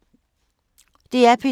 DR P2